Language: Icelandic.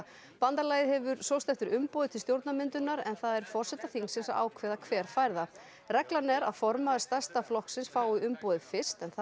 bandalagið hefur sóst eftir umboði til stjórnarmyndunar en það er forseta þingsins að ákveða hver fær það reglan er að formaður stærsta flokksins fái umboðið fyrst en það